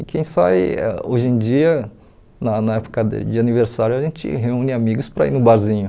E quem sai hoje em dia, na na época de de aniversário, a gente reúne amigos para ir no barzinho.